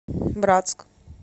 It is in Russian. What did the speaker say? братск